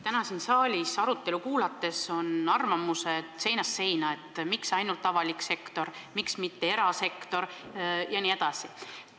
Täna siin saalis arutelu kuulates oleme kuulnud arvamusi seinast seina, et miks ainult avalik sektor, miks mitte erasektor jne.